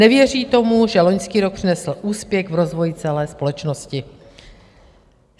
Nevěří tomu, že loňský rok přinesl úspěch v rozvoji celé společnosti.